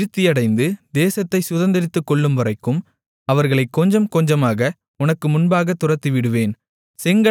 நீ விருத்தியடைந்து தேசத்தைச் சுதந்தரித்துக்கொள்ளும்வரைக்கும் அவர்களைக் கொஞ்சம் கொஞ்சமாக உனக்கு முன்பாக துரத்திவிடுவேன்